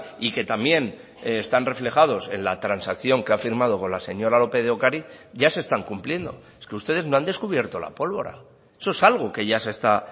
y que también están reflejados en la transacción que ha firmado con la señora lópez de ocariz ya se están cumpliendo es que ustedes no han descubierto la pólvora eso es algo que ya se está